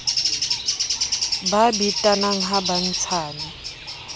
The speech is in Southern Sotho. ba betanang ha ba ntshane